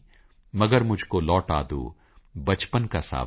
ਮਗਰ ਮੁਝਕੋ ਲੌਟਾ ਦੋ ਬਚਪਨ ਕਾ ਸਾਵਨ